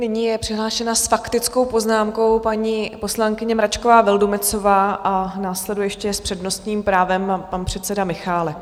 Nyní je přihlášena s faktickou poznámkou paní poslankyně Mračková Vildumetzová a následuje ještě s přednostním právem pan předseda Michálek.